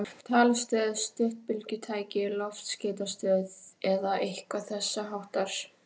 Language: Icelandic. Talstöð, stuttbylgjutæki, loftskeytastöð eða eitthvað þessháttar?